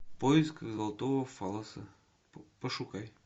в поисках золотого фаллоса пошукай